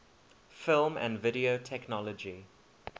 film and video technology